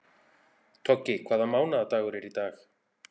Toggi, hvaða mánaðardagur er í dag?